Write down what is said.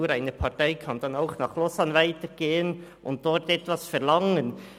Nur eine Partei kann nach Lausanne weitergehen und dort etwas verlangen.